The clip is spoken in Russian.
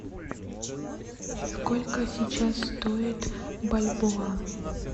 сколько сейчас стоит бальбоа